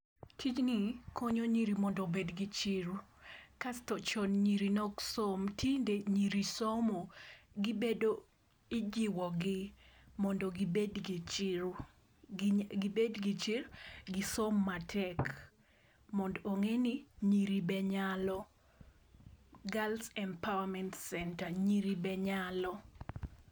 Tijni konyo nyiri mondo obed gi chiro. Kasto chon nyiri ne ok som, tinde nyiri somo, gibedo , ijiwogi mondo gibed gi chiro, gibed gi chir, gisom matek mondo ong'e ni nyiri be nyalo, Girls Empowerment Centre, nyiri be nyalo.